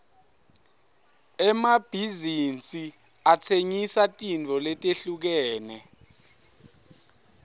emabhizinsi atsengisa tintfo letehlukene